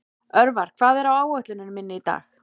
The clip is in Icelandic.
Örvar, hvað er á áætluninni minni í dag?